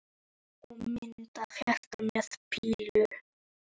Og mynd af hjarta með pílu í.